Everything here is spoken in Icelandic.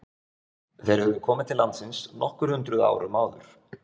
Þeir höfðu komið til landsins nokkur hundruð árum áður.